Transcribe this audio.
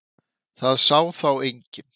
Það sá þá enginn.